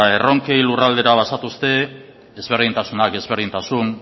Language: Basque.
erronken lurraldera bazatozte ezberdintasunak ezberdintasun